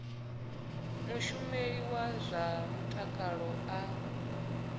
mushumeli wa zwa mutakalo a